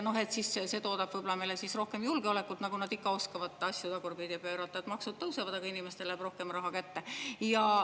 Siis see toodab võib-olla meile rohkem julgeolekut, nagu nad ikka oskavad asju tagurpidi pöörata, et maksud tõusevad, aga inimestele jääb rohkem raha kätte.